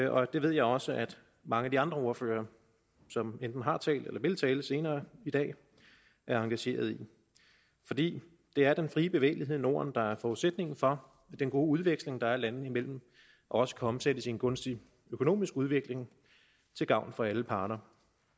og det ved jeg også at mange af de andre ordførere som enten har talt eller vil tale senere i dag er engageret i fordi det er den frie bevægelighed i norden der er forudsætningen for at den gode udveksling der er landene imellem også kan omsættes i en gunstig økonomisk udvikling til gavn for alle parter